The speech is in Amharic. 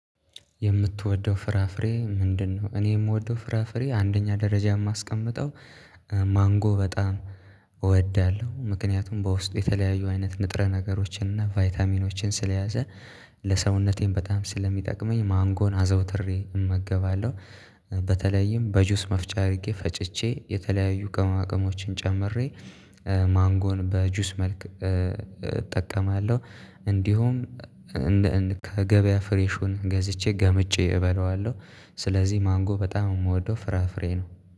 የምትወደው ፍራፍሬ ምንድነው? እኔ የምወደው ፍራፍሬ አንደኛ ደረጃ የማስቀምጠው ማንጎ በጣም እወዳለሁ ምክንያቱም በውስጡ የተለያዩ አይነት ንጥረ ነገሮችን እና ቫይታሚኖችን ስለያዘ ለሰውነቴም በጣም ስለሚጠቅመኝ ማንጎን አዘውትሬ እመገባለሁ። በተለይም በጁስ መፍጨር አድርጌ ፈጭቼ የተለያዩ ቅመማቅሞችን ጨምሬ ማንጎን በጁስ መልክ እጠቀማለሁ። እንዲሁም እንደ ከገበያ ፍሬሹን ገዝቼ ገምጬ እበለዋለሁ። ስለዚህ ማንጎ በጣም የምወደው ፍራፍሬ ነው